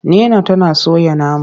Nina tana soya nama.